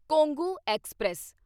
Kongu express